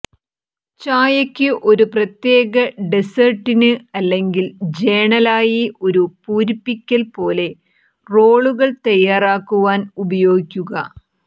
ചായയ്ക്ക് ഒരു പ്രത്യേക ഡെസേർട്ടിന് അല്ലെങ്കിൽ ജേണലായി ഒരു പൂരിപ്പിക്കൽ പോലെ റോളുകൾ തയ്യാറാക്കുവാൻ ഉപയോഗിക്കുക